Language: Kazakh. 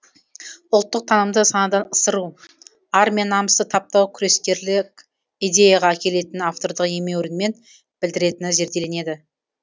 ұлттық танымды санадан ысыру ар мен намысты таптау күрескерлік идеяға әкелетінін автордың емеурінмен білдіретіні зерделенеді